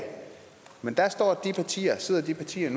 men der sidder de partier